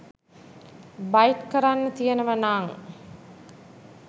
bite කරන්න තියෙනව නං